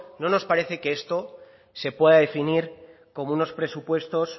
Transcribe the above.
no nos parece que esto se pueda definir como unos presupuestos